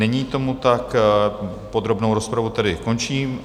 Není tomu tak, podrobnou rozpravu tedy končím.